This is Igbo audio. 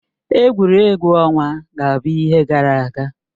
Egwuregwu ọnwa ga-abụ ihe gara aga